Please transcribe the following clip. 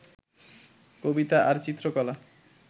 কবিতা আর চিত্রকলা